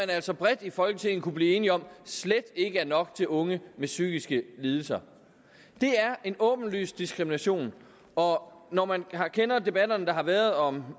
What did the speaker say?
altså bredt i folketinget kunne blive enige om slet ikke var nok til unge med psykiske lidelser det er en åbenlys diskrimination og når man kender debatterne der har været om